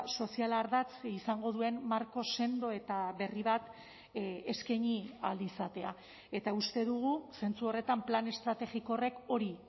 soziala ardatz izango duen marko sendo eta berri bat eskaini ahal izatea eta uste dugu zentzu horretan plan estrategiko horrek hori